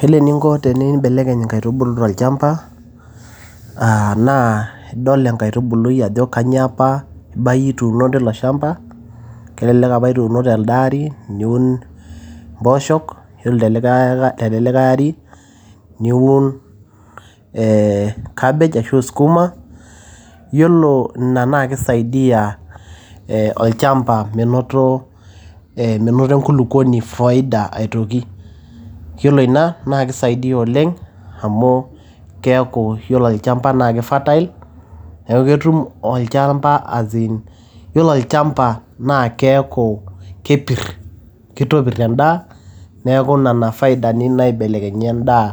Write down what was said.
Iyiolo eninko tinimbelekeny inkaitubulu tolchamba, naa idol enkaitubului ajo kainyoo apa ibayie ituuno teilo shamba, kelelekapa nituuno telde ari niun impoooshok, ore tele ari niun ee cabbage ashu sukuma. Iyiolo ina naa keisaidia olchamba, menoto enkulukwoni faida aitoki. Iyiolo ina naa keiasaidia oleng amu keaku iyiolo olchamba naa keifertile neaku ketum olchamba as in. Iyiolo olchamba naa keaku kepir, keotopir endaa neaku inena faidani naibelekenyieki endaa